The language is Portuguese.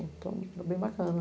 Então, era bem bacana.